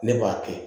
Ne b'a kɛ